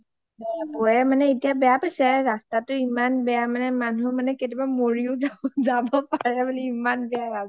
বৌয়ে মানে বেয়া পাইছে ৰাস্তাটো মানে ইমান বেয়া ,মানুহ কেতিয়াবা মৰিও যাব পাৰে বুলি ইমান বেয়া ৰাস্তা